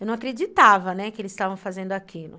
Eu não acreditava, né, que eles estavam fazendo aquilo.